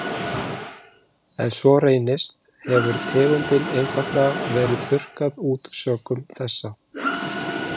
Ef svo reynist hefur tegundin einfaldlega verið þurrkað út sökum þessa.